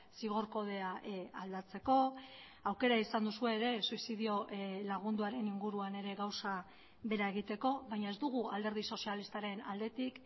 zigor kodea aldatzeko aukera izan duzue ere suizidio lagunduaren inguruan ere gauza bera egiteko baina ez dugu alderdi sozialistaren aldetik